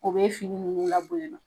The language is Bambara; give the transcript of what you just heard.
O bɛ fini ninnu la bonya na